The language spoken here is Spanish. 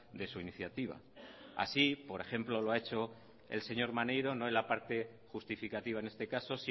de su iniciativa así por ejemplo lo ha hecho el señor maneiro no en la parte justificativa en este caso